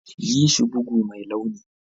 Yi shi bugu mai launi.